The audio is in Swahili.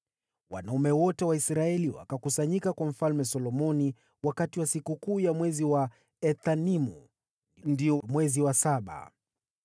Wanaume wote wa Israeli wakakusanyika kwa Mfalme Solomoni wakati wa sikukuu ya mwezi wa Ethanimu, ndio mwezi wa saba.